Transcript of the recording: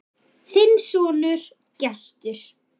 Þinn sonur, Gestur.